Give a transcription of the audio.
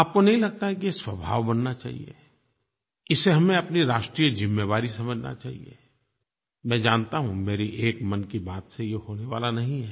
आपको नहीं लगता है कि ये स्वभाव बनना चाहिए इसे हमें अपनी राष्ट्रीय जिम्मेवारी समझना चाहिए मैं जानता हूँ मेरी एक मन की बात से ये होने वाला नहीं है